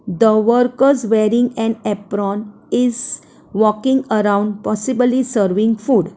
the workers wearing an apron is walking around possibly serving food.